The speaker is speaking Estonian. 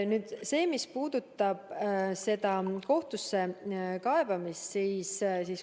Nüüd sellest, mis puudutab kohtusse kaebamist.